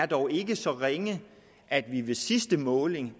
dog ikke er så ringe at sidste måling